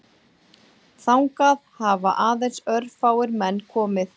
Þangað hafa aðeins örfáir menn komið